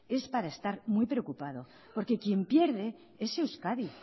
es para estar muy preocupado porque quien pierde es euskadi